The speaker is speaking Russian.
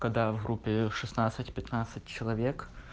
когда в группе шестнадцать пятнадцать человек